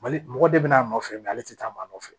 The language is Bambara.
Mali mɔgɔ de be n'a nɔfɛ ale ti taa maa nɔ nɔfɛ